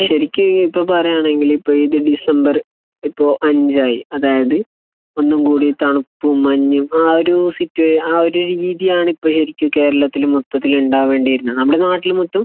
ശരിക്കും ഇപ്പോൾ ഈ പറയുകയാണെന്നുണ്ടെങ്കിൽ ഇപ്പോൾ ഡിസംബർ ഇപ്പോൾ അഞ്ചായി. അതായത് ഒന്നും കൂടെ തണുപ്പും മഞ്ഞും ആ ഒരു സിറ്റുവേ ആ ഒരു രീതിയാണ് ഇപ്പോൾ ശരിക്കും കേരളത്തിൽ മൊത്തത്തിൽ ഉണ്ടാവേണ്ടിയിരുന്നത്. നമ്മുടെ നാട്ടിൽ മൊത്തം